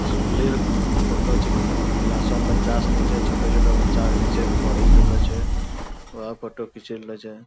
स्कुलि र फोटो छेकै क्लासो म बच्चा सिनी छै छोटो-छोटो बच्चा सिनी छै पढ़ि रहलो छै वह फोटो खिची लेलो छै।